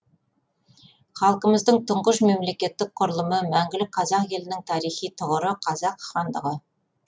халқымыздың тұңғыш мемлекеттік құрылымы мәңгілік қазақ елінің тарихи тұғыры қазақ хандығы